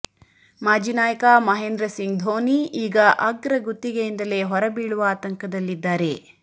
ಮಾಜಿ ನಾಯಕ ಮಹೇಂದ್ರ ಸಿಂಗ್ ಧೋನಿ ಈಗ ಅಗ್ರ ಗುತ್ತಿಗೆಯಿಂದಲೇ ಹೊರಬೀಳುವ ಆತಂಕದಲ್ಲಿದ್ದಾರೆ